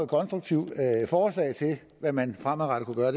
konstruktive forslag til hvad man fremadrettet kunne gøre